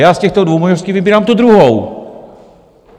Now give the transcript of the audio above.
Já z těchto dvou možností vybírám tu druhou.